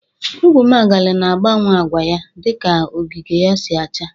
Ugwumagala na agbawe agwa ya dị ka ogige ya si acha.